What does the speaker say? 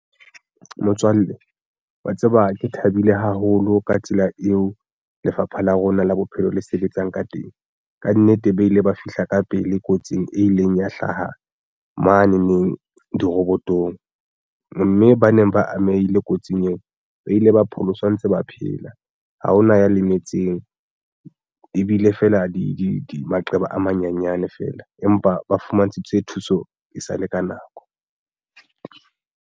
Motswalle wa tseba ke thabile haholo ka tsela eo lefapha la rona la bophelo le sebetsang ka teng. Kannete ba ile ba fihla ka pele kotsing e ileng ya hlaha mane neng dirobotong mme ba neng ba amehile kotsing eo ba ile ba pholoswa ntse ba phela ha hona ya lemetseng ebile feela di maqeba a manyanyane fela empa ba fumantshitswe thuso e sale ka nako.